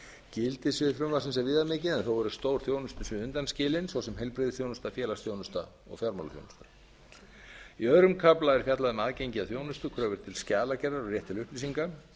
gildissvið frumvarpsins er viðamikið en þó eru stór þjónustusvið undanskilin svo sem heilbrigðisþjónusta félagsþjónusta og fjármálaþjónusta í öðrum kafla er fjallað um aðgengi að þjónustu kröfur til skjalagerðar og rétt til upplýsinga